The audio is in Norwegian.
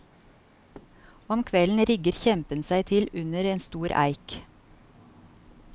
Om kvelden rigger kjempen seg til under en stor eik.